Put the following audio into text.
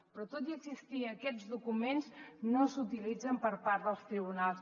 però tot i existir aquests documents no s’utilitzen per part dels tribunals